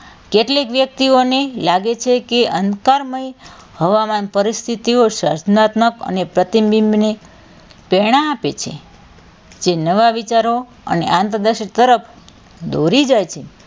કેટલીક વ્યક્તિઓને લાગે છે કે અંધકારમય હવામાન પરિસ્થિતિઓ સર્જનાત્મક અને પ્રતિબિંબ ને પ્રેરણા આપે છે જે નવા વિચારો અને આંધદર્શિતા તરફ દોરી જાય છે.